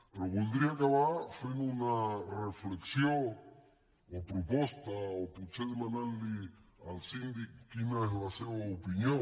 però voldria acabar fent una reflexió o proposta o potser demanant li al síndic quina és la seva opinió